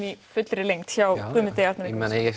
í fullri lengd hjá Guðmundi ég meina ég